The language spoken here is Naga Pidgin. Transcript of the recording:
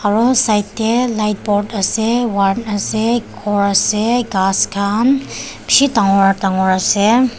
aro side tey light board ase ward ase core ase khass khan beshe dangor dangor ase.